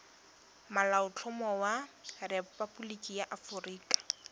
molaotlhomo wa rephaboliki ya aforika